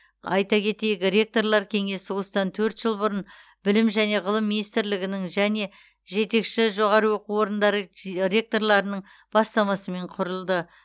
айта кетейік ректорлар кеңесі осыдан төрт жыл бұрын білім және ғылым министрлігінің және жетекші жоғары оқу орындары ж ректорларының бастамасымен құрылды